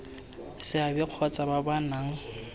seabe kgotsa ba ba nang